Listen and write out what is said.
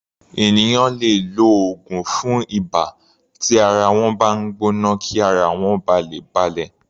Ènìyàn lè lo oògùn fún ibà tí ara wọ́n bá ń gbọ́ná kí ara wọ́n ba lè balẹ̀.